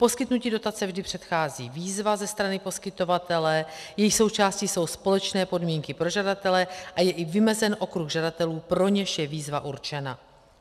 Poskytnutí dotace vždy předchází výzva ze strany poskytovatele, její součástí jsou společné podmínky pro žadatele a je i vymezen okruh žadatelů, pro něž je výzva určena.